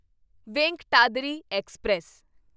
Venkatadri express